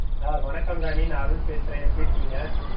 ஆஹ் வணக்கம் ராணி நான் அருள் பேசுறேன் எப்படி இருக்கீங்க?